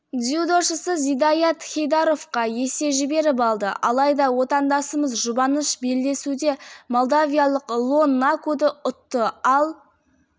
дзюдошысы зидаят хейдаровқа есе жіберіп алды алайда отандасымыз жұбаныш белдесуде молдавиялық лон накуды ұтты ал